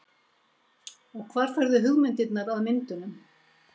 Og hvar færðu hugmyndirnar að myndunum?